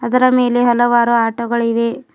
ಅದರ ಮೇಲೆ ಹಲವಾರು ಆಟೋ ಗಳಿವೆ.